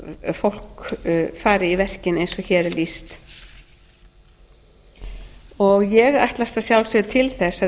að fólk fari í verkin eins og hér er lýst ég ætlast að sjálfsögðu til þess að ef við